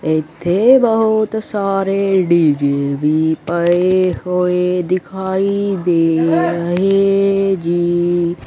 ਇੱਥੇ ਬਹੁਤ ਸਾਰੇ ਡੀ_ਜੇ ਵੀ ਪਏ ਹੋਏ ਦਿਖਾਈ ਦੇ ਰਹੇ ਜੀ।